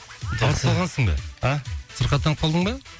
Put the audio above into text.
ауырып қалғансың ба а сырқаттанып қалдың ба